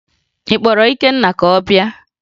Ị kpọrọ Ikenna ka ọ bịa?